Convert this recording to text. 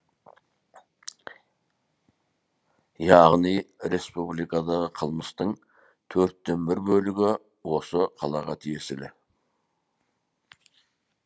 яғни республикадағы қылмыстың төрттен бір бөлігі осы қалаға тиесілі